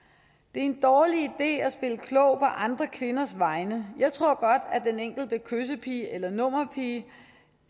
en dårlig idé at spille klog på andre kvinders vegne jeg tror godt at den enkelte kyssepige eller nummerpige